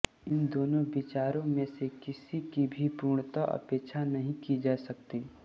इन दोनों विचारों में से किसी की भी पूर्णतः उपेक्षा नहीं की जा सकती